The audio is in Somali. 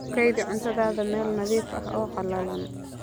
Ku kaydi cuntada meel nadiif ah oo qallalan.